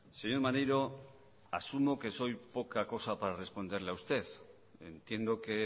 señor maneiro asumo que soy poca cosa para responderle a usted entiendo que